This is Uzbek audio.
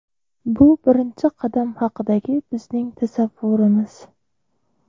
Bu birinchi qadam haqidagi bizning tasavvurimiz.